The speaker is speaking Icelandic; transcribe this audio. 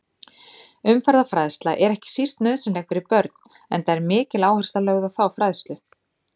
Umferðarfræðsla er ekki síst nauðsynleg fyrir börn enda er mikil áhersla lögð á þá fræðslu.